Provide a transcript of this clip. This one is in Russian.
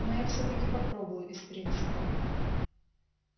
но я всё-таки попробую из принципа